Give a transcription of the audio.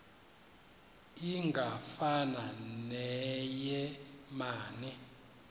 ingafana neye mane